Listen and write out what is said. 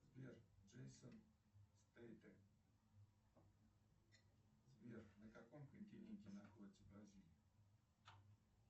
сбер джейсон стэтхэм сбер на каком континенте находится бразилия